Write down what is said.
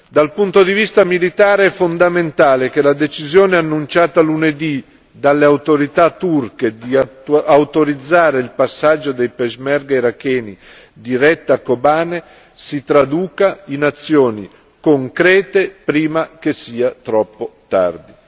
Dal punto di vista militare è fondamentale che la decisione annunciata lunedì dalle autorità turche di autorizzare il passaggio dei peshmerga iracheni diretti a Kobane si traduca in azioni concrete prima che sia troppo tardi.